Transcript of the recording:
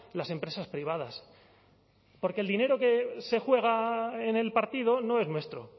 las empresas privadas porque el dinero que se juega en el partido no es nuestro